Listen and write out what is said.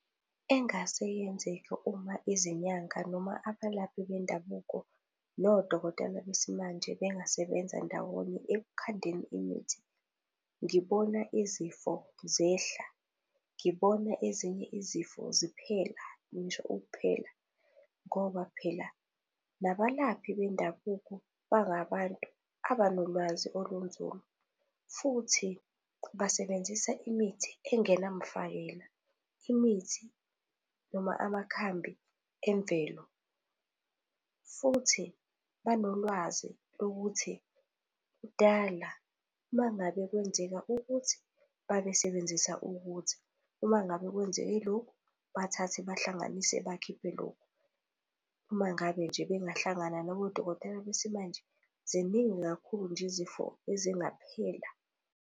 engase yenzeke uma izinyanga noma abalaphi bendabuko nodokotela besimanje bengasebenza ndawonye ekukhandeni imithi, ngibona izifo zehla, ngibona ezinye izifo ziphela ngisho ukuphela. Ngoba phela nabalaphi bendabuko bangabantu abanolwazi olunzulu futhi basebenzisa imithi engenamfakela, imithi noma amakhambi emvelo. Futhi banolwazi lokuthi kudala mangabe kwenzeka ukuthi, babesebenzisa ukuthi. Uma ngabe kwenzeke lokhu, bathathe bahlanganise bakhiphe lokhu. Uma ngabe nje bengahlangana nabodokotela besimanje, ziningi kakhulu nje izifo ezingaphela.